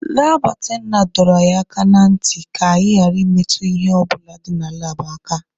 Laab atendantị dọrọ anyị aka na ntị ka anyị ghara ịmetụ ihe ọ bụla dị na laabụ aka.